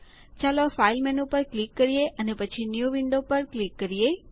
ચાલો file menu પર click કરીએ અને પછી ન્યૂ વિન્ડો પર ક્લિક કરીએ